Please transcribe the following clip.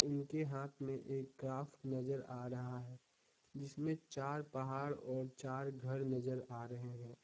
उनके हाथ में एक क्राफ्ट नजर आ रहा है जिसमें चार पहाड़ और चार घर नजर आ रहे हैं।